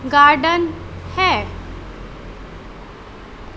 Garden है।